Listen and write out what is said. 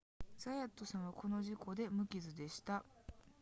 ザヤットさんはこの事故で無傷でした